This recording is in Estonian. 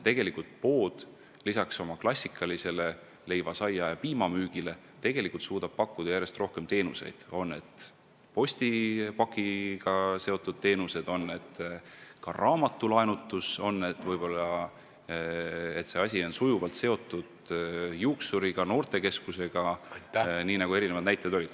Pood suudab lisaks klassikalisele leiva, saia ja piima müügile pakkuda järjest rohkem teenuseid, on need siis postipakkidega seotud teenused, raamatute laenutamine või näiteks juuksuri või noortekeskuse teenused, nii nagu näited olid.